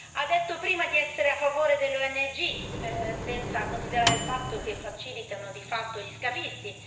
Ha detto prima di essere a favore delle ONG, senza considerare il fatto che facilitano, di fatto, gli scafisti